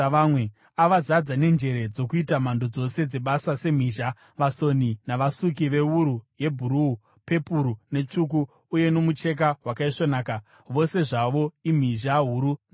Avazadza nenjere dzokuita mhando dzose dzebasa semhizha, vasoni, navasuki vewuru yebhuruu, pepuru netsvuku uye nomucheka wakaisvonaka, vose zvavo imhizha huru navasoni.”